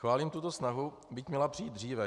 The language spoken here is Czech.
Chválím tuto snahu, byť měla přijít dříve.